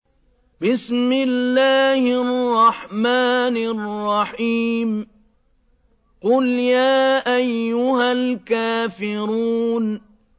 قُلْ يَا أَيُّهَا الْكَافِرُونَ